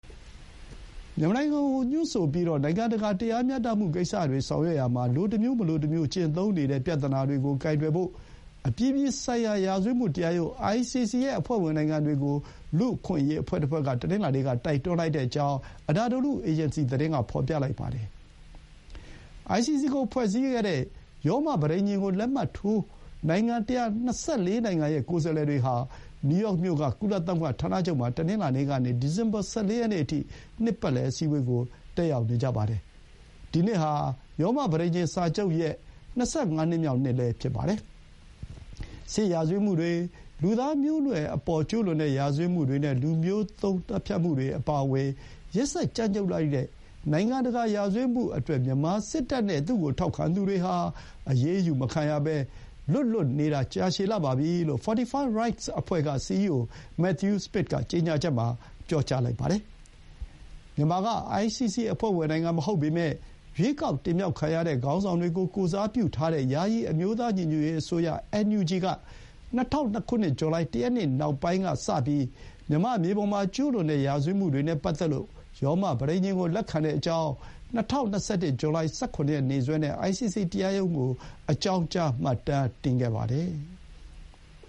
မြန်မာနိုင်ငံကိုညွှန်းဆိုပြီး နိုင်ငံတကာ တရားမျှတမှုကိစ္စတွေဆောင်ရွက်ရာမှာ လိုတစ်မျိုး မလိုတမျိုး ကျင့်သုံးနေတဲ့ ပြဿနာကို ကိုင်တွယ်ဖို့ အပြည်ပြည်ဆိုင်ရာ ရာဇဝတ်မှုတရားရုံး ICC ရဲ့ အဖွဲ့ဝင်နိုင်ငံတွေကို လူ့အခွင့်အရေးအဖွဲ့တဖွဲ့ က တနင်္လာနေ့က တိုက်တွန်းကြောင်း Anadolu Agency သတင်းက ဖော်ပြလိုက်ပါတယ်။ အိုင်စီစီကိုဖွဲ့စည်းခဲ့တဲ့ ရောမပဋိညာဥ်ကို လက်မှတ်ထိုးထားတဲ့ နိုင်ငံ ၁၂၄ နိုင်ငံရဲ့ ကိုယ်စားလှယ်တွေဟာ နယူးယောက်မြို့က ကုလသမဂ္ဂဌာနချုပ်မှာ တနင်္လာနေ့ကနေ ဒီဇင်ဘာ ၁၄ ရက်နေ့အထိ နှစ်ပတ်လည်အစည်းအဝေးကို တက်ရောက်နေကြပါတယ်။ ဒီနှစ်ဟာ ရောမပဋိညာဥ်စာချုပ်ရဲ့ ၂၅ နှစ်မြောက်နှစ်လည်း ဖြစ်ပါတယ်။ စစ်ရာဇဝတ်မှုတွေ၊ လူသားမျိုးနွယ်အပေါ် ကျူးလွန်တဲ့ရာဇဝတ်မှုနဲ့ လူမျိုးသုဥ်းသတ်ဖြတ်မှုတွေအပါအဝင် ရက်စက်ကြမ်းကြုတ်လှတဲ့ နိုင်ငံတကာ ရာဇဝတ်မှုတွေအတွက် မြန်မာစစ်တပ်နဲ့ သူ့ကို ထောက်ခံသူတွေဟာ အရေးယူမခံရဘဲ လွတ်လွတ်နေတာ ကြာရှည်လှပြီလို့ Fortify Rights အဖွဲ့က စီအီးအို မက်သယူး စမစ် (Matthew Smith) က ကြေညာချက် မှာ ပြောထားပါတယ်။ မြန်မာက ICC အဖွဲ့ဝင်နိုင်ငံမဟုတ်ပေမဲ့ ရွေးကောက်တင်မြှောက်ခံရတဲ့ ခေါင်းဆောင်တွေကို ကိုယ်စားပြုတဲ့ ယာယီအမျိုးသား ညီညွတ်ရေးအစိုးရ NUG က ၂၀၀၂ ဇူလိုင် ၁ ရက်နေ့ကစပြီး နောက်ပိုင်းကာလ မြန်မာ့မြေပေါ် မှာ ကျူးလွန်တဲ့ရာဇဝတ်မှုတွေနဲ့ပတ်သက်လို့ ရောမပဋိညာဥ်ကိုလက်ခံကြောင်း ၂၀၂၁ ဇူလိုင် ၁၇ ရက်နေ့စွဲနဲ့ ICC တရားရုံး ကို အကြောင်းကြား မှတ်တမ်းတင်ခဲ့ပါတယ်။